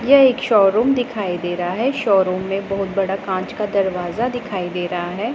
ये एक शोरूम दिखाई दे रहा है शोरूम में बहोत बड़ा कांच का दरवाजा दिखाई दे रहा है।